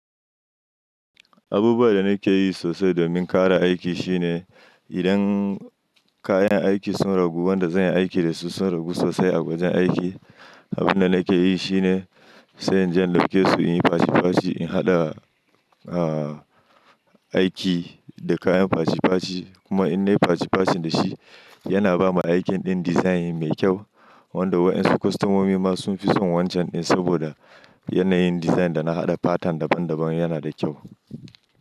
Abubuwan da nake yi sosai domin ƙara aiki shine, idan kayan aiki sun ragu, wanda zan yi aiki da su sun ragu sosai a wajen aiki. Abin da nake yi shine sa'in je lafkeso, in yi faci faci, in haɗa, ah, aiki da kayan faci faci. Kuma in nayi faci faci da shi, yana ba mu aikin ɗin design mai kyau wanda waensu kwastamomi ma sun fi son wancan ɗin saboda yanayin design da na haɗa pattern daban daban yana da kyau.